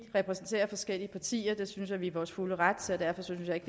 vi repræsenterer forskellige partier der synes at vi i vores fulde ret så derfor synes jeg ikke